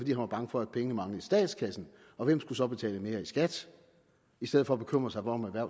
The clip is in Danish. han var bange for at pengene manglede i statskassen og hvem der så skulle betale mere i skat i stedet for at bekymre sig om at